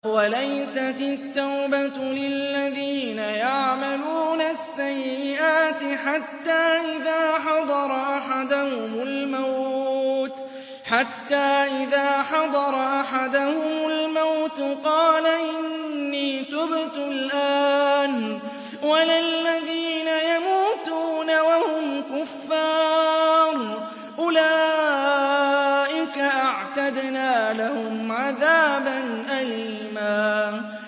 وَلَيْسَتِ التَّوْبَةُ لِلَّذِينَ يَعْمَلُونَ السَّيِّئَاتِ حَتَّىٰ إِذَا حَضَرَ أَحَدَهُمُ الْمَوْتُ قَالَ إِنِّي تُبْتُ الْآنَ وَلَا الَّذِينَ يَمُوتُونَ وَهُمْ كُفَّارٌ ۚ أُولَٰئِكَ أَعْتَدْنَا لَهُمْ عَذَابًا أَلِيمًا